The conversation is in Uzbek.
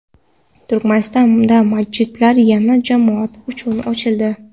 Turkmanistonda masjidlar yana jamoat uchun ochildi.